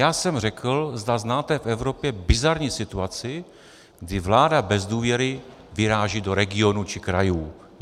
Já jsem řekl, zda znáte v Evropě bizarní situaci, kdy vláda bez důvěry vyráží do regionů či krajů.